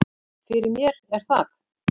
Fyrir mér er það